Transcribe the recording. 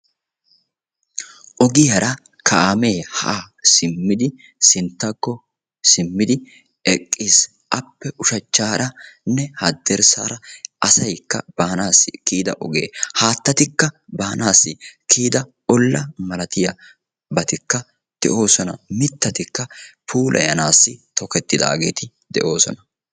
Ogiyara kaame haa simmidi sinttakko simmidi eqqiis. Appe ushshachcharane haddirsaara asaayka baanassi kiyida oge, haattaatika baanassi kiyida olla malatiyabatikka de'osona. Miittatikka puulayanassi tokkettidaageeti de'osona.